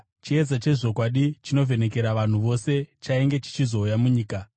Chiedza chezvokwadi chinovhenekera vanhu vose chainge chichizouya munyika.